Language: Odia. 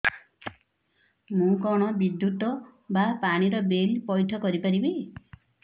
ମୁ କଣ ବିଦ୍ୟୁତ ବା ପାଣି ର ବିଲ ପଇଠ କରି ପାରିବି